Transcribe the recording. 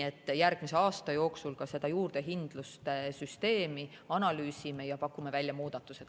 Aga järgmise aasta jooksul me juurdehindluse süsteemi analüüsime ja pakume välja muudatused.